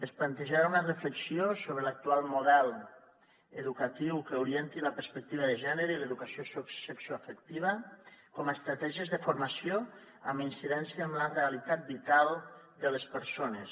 es plantejarà una reflexió sobre l’actual model educatiu que orienti la perspectiva de gènere i l’educació sexoafectiva com a estratègies de formació amb incidència en la realitat vital de les persones